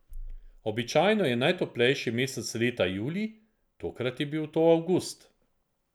Običajno je najtoplejši mesec leta julij, tokrat je bil to avgust.